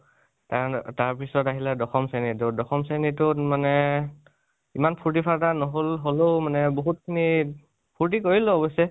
তাৰ, তাৰপিছত আহিলে দশম শ্ৰণীটো , দশম শ্ৰণীটো মানে ইমান ফূৰ্তি ফাৰ্তা নহল, হলেও মানে বহুত খিনি ফুৰ্তি কৰিলোঁ অৱশ্যে।